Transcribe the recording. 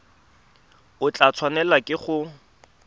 o tla tshwanelwa ke go